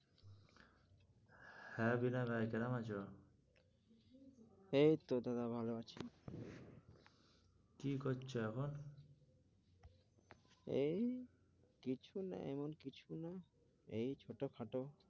হ্যাঁ, বিনয় ভাই কেমন আছো? এই তো দাদা ভালো আছি, কি করছো এখন? এই কিছু না এমন কিছু না এই ছোটোখাটো।